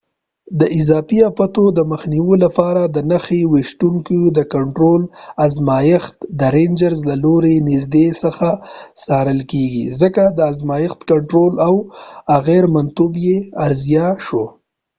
د اضافې آفاتو د مخنیوي لپاره د نښه ویشتونکو د کنټرول ازمایښت د رینجرز له لورې له نږدې څخه څارل کیږي ځکه د ازمایښت کنټرول او اغیرمنتوب یې ارزیابي شو